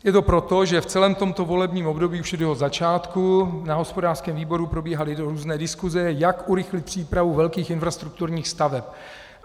Je to proto, že v celém tomto volebním období, už od jeho začátku, na hospodářském výboru probíhaly různé diskuse, jak urychlit přípravu velkých infrastrukturních staveb.